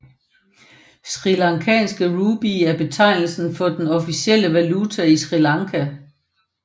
Srilankanske rupee er betegnelse for den officielle valuta i Sri Lanka